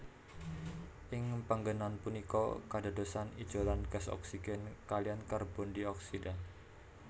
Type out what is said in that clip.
Ing panggènan punika kadadosan ijolan gas oksigen kaliyan karbondioksida